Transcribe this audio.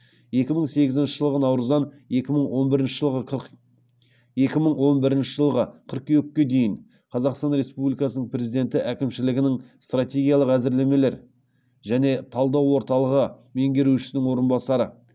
екі мың сегізінші жылғы наурыздан екі мың он бірінші жылғы қыркүйекке дейін қазақстан республикасының президенті әкімшілігінің стратегиялық әзірлемелер және талдау орталығы меңгерушісінің орынбасары